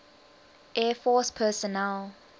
air force personnel